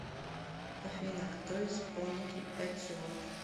афина кто исполнитель эцио